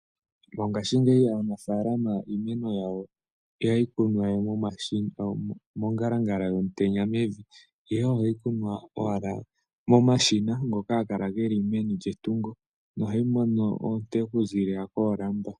Mongaashingeyi aanafaalama iimeni yawo iha yi kunwa we mongalangala yomutenya mevi, ihe oha yi kunwa owala momashina, ngoka haga kala ge li meni lyetungo, noha yi mono oonte oku ziilila koolamba.